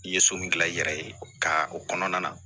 I ye so min gilan i yɛrɛ ye ka o kɔnɔna na